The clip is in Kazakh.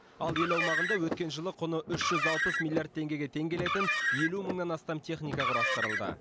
ал ел аумағында өткен жылы құны үш жүз алпыс миллиард теңгеге тең келетін елу мыңнан астам техника құрастырылды